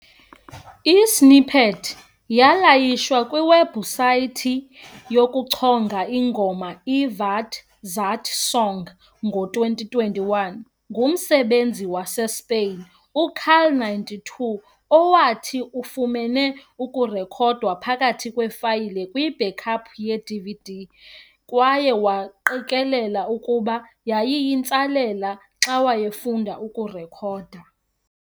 I-snippet yalayishwa kwiwebhusayithi yokuchonga ingoma i-WatZatSong ngo-2021 ngumsebenzisi waseSpain u-carl92, owathi ufumene ukurekhodwa phakathi kweefayile kwi-backup yeDVD kwaye waqikelela ukuba yayiyintsalela xa wayefunda ukurekhoda.